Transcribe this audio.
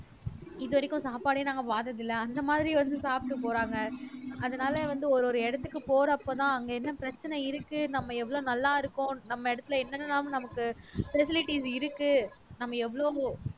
இதுவரைக்கும் சாப்பாடே நாங்க பார்த்ததில்ல அந்த மாதிரி வந்து சாப்பிட்டு போறாங்க அதனால வந்து ஒரு ஒரு இடத்துக்கு போறப்பதான் அங்க என்ன பிரச்சனை இருக்கு நம்ம எவ்வளவு நல்லா இருக்கோம் நம்ம இடத்துல என்னென்னலாம் நமக்கு facilities இருக்கு நாம எவ்ளோவோ